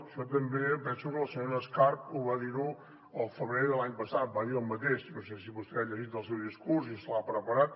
això també penso que la senyora escarp ho va dir el febrer de l’any passat va dir el mateix no sé si vostè ha llegit el seu discurs i se l’ha preparat